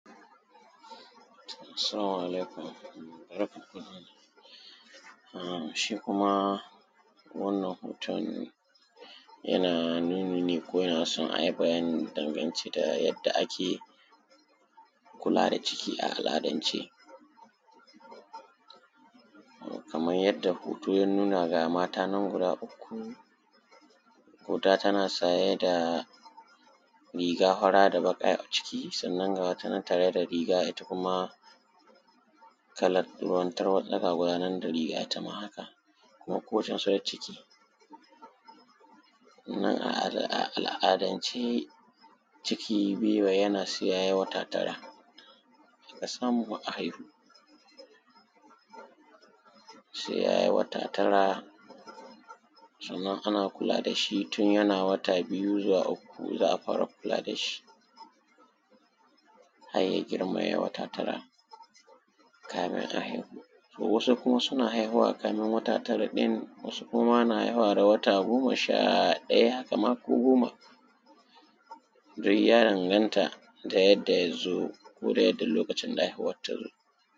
salamu alaikum shi kuma wannan hoton yana nuni ne ko yana son a yi bayani dangance da yadda ake kula da ciki a al’adance xxx kaman yanda hoto ya nuna ga mata nan guda uku guda tana saye da riga fara da baƙa a ciki sannan ga wata nan da riga ita kuma kalar ruwan tarwaɗa ga tabaya nan ita ma haka xx kuma ko wadda ta sau ciki a al’adance ciki bai yi sai ya yi wata tara a samu a haihu sai ya yi wata tara sannan ana kula da shi tun yana wata biyu zuwa uku za a fara kula da shi har ya girma ya yi wata tara kamin a haihu wasu kuma suna haihuwa kamin wata tara ɗin wasu kuma na haihuwa da wata goma sha ɗaya kamar ko goma duk ya danganta da yadda ya zo ko yadda lokacin haihuwar ta zo